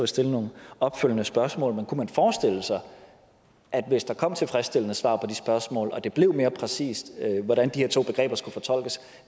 stille nogle opfølgende spørgsmål men kunne man forestille sig at hvis der kom tilfredsstillende svar på de spørgsmål og det blev mere præcist hvordan de her to begreber skulle fortolkes